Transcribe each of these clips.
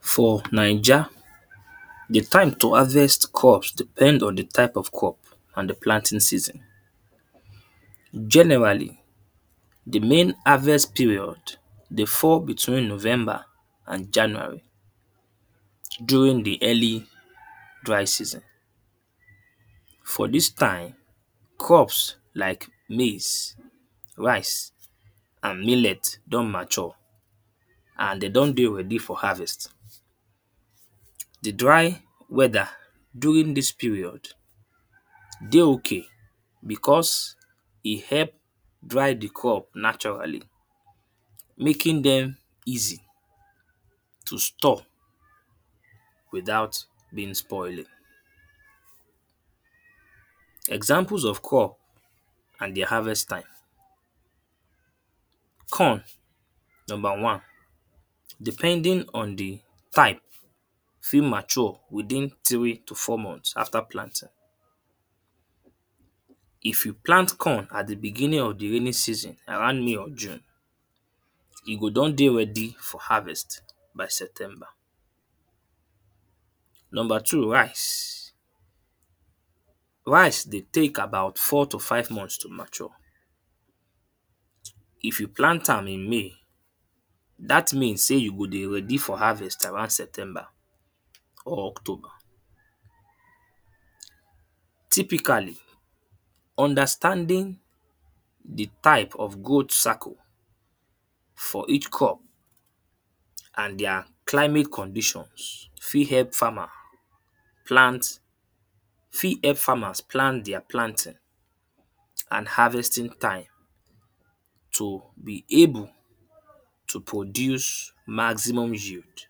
For Naija the time to harvest crops depend on the type of crop and the planting season. Generally, the main harvest period dey fall between november and january. During the early dry season for dis time crops like maize, rice and millet don mature and de don dey ready for harvest. The dry weather during dis period dey okay because e help dry the crop naturally. Making dem easy to store without being spoiling. Example of crop and the harvest time corn. Number one, depending on the type fit mature within three to four month after planting. If you plant corn at begining at the beginning of the raining season around may or june, e go don dey ready for haarvest by september. Number two rice. Rice dey take about four to five month to mature. If you plant am in may dat means sey you go dey ready for harvest by september or october. Typically, understanding the type of growth cycle for each crop and their climate conditions fit help farmer plant fit help farmers plant their planting and harvesting time. To be able to produce maximum yield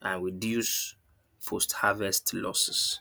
and reduce post harvest loses.